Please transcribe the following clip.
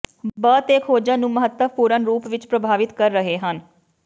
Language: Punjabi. ਬ ਤੇ ਖੋਜਾਂ ਨੂੰ ਮਹੱਤਵਪੂਰਣ ਰੂਪ ਵਿੱਚ ਪ੍ਰਭਾਵਿਤ ਕਰ ਰਹੇ ਹਨ